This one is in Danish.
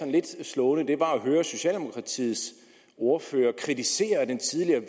lidt slående det var at høre socialdemokratiets ordfører kritisere den tidligere